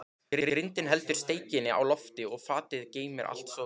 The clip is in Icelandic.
Grindin heldur steikinni á lofti og fatið geymir allt soðið.